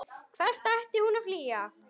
Hvern ætti hún að flýja?